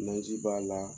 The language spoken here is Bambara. Naji b'a la